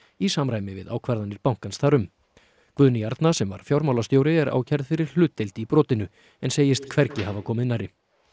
í samræmi við ákvarðanir bankans þar um Guðný Arna sem var fjármálastjóri er ákærð fyrir hlutdeild í brotinu en segist hvergi hafa komið nærri